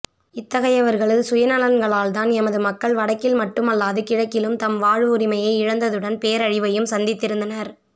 இத்தகையவர்களது சுயநலன்களால் தான் எமது மக்கள் வடக்கில் மட்டுமல்லாது கிழக்கிலும் தமது வாழ்வுரிமையை இழந்ததுடன் பேரழிவையும் சந்தித்திரந்தனர்